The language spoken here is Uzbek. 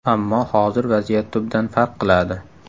Ammo hozir vaziyat tubdan farq qiladi.